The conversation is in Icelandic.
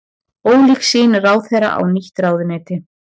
Ólík sýn ráðherra á nýtt ráðuneyti